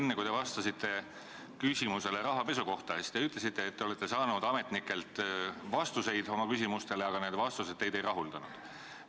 Enne, kui te vastasite küsimusele rahapesu kohta, te ütlesite, et te olete saanud ametnikelt vastuseid oma küsimustele, aga need vastused teid ei rahuldanud.